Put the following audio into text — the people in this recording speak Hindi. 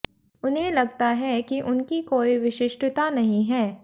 उन्हें लगता है कि उनकी कोई विशिष्टता नहीं है